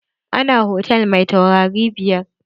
Ina hotal mai taurari biyar.